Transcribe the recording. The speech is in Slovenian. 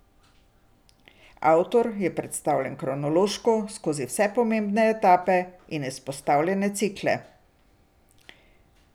Avtor je predstavljen kronološko skozi vse pomembne etape in izpostavljene cikle.